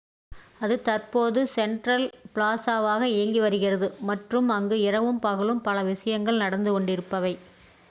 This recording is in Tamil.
அது தற்போது செண்ட்ரல் ப்ளாஸாவாக இயங்கி வருகிறது மற்றும் அங்கு இரவும் பகலும் பல விஷயங்கள் நடந்து கொண்டிருப்பவை